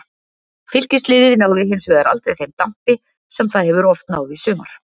Fylkis liðið náði hinsvegar aldrei þeim dampi sem það hefur oft náð í sumar.